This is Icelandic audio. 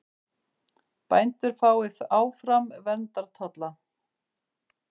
Bændur fái áfram verndartolla